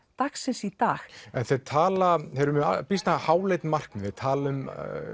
dagsins í dag en þeir tala þeir eru með býsna háleit markmið þeir tala um